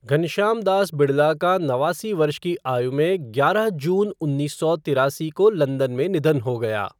घनश्याम दास बिड़ला का नवासी वर्ष की आयु में ग्यारह जून उन्नीस सौ तिरासी को लंदन में निधन हो गया।